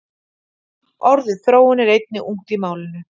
orðið þróun er einnig ungt í málinu